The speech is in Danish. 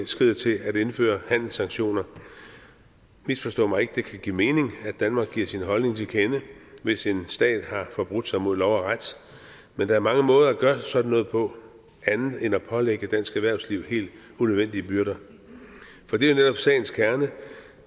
skrider til at indføre handelssanktioner misforstå mig ikke det kan give mening at danmark giver sin holdning til kende hvis en stat har forbrudt sig mod lov og ret men der er mange måder at gøre sådan noget på andet end at pålægge dansk erhvervsliv helt unødvendige byrder for det er netop sagens kerne